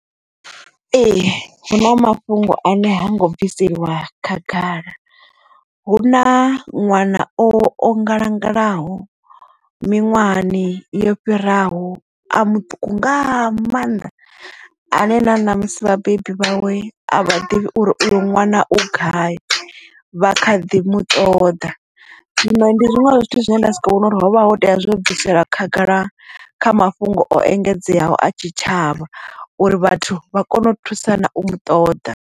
Ee hu na mafhungo ane ha ngo bviselwa khagala hu na ṅwana o ngalangalaho miṅwahani yo fhiraho a muṱuku nga maanḓa ane na na musi vhabebi vhawe a vha ḓivhi uri uyo ṅwana u gai vha kha ḓi mu ṱoḓa zwino ndi zwinwe zwa zwithu zwine nda vhona uri hovha ho tea zwo bvisela khagala kha mafhungo o engedzeaho a tshitshavha uri vhathu vha kone u thusana u mu ṱoḓa.